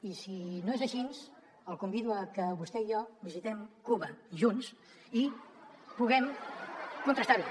i si no és així el convido a que vostè i jo visitem cuba junts i puguem contrastar ho